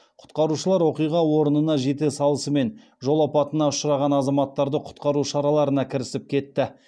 құтқарушылар оқиға орнына жете салысымен жол апатына ұшыраған азаматтарды құтқару шараларына кірісіп кетті